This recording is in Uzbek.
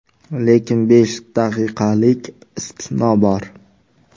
Lekin besh daqiqalik istisno bor.